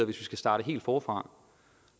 vi skal starte helt forfra